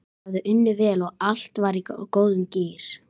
Ég hafði unnið vel og allt var í góðum gír.